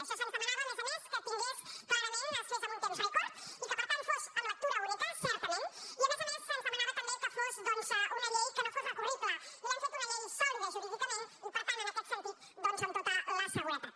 això se’ns demanava a més a més que es fes en un temps rècord i que per tant fos en lectura única certament i a més a més se’ns demanava també que fos una llei que no fos recurrible i l’hem fet una llei sòlida jurídicament i per tant en aquest sentit amb tota la seguretat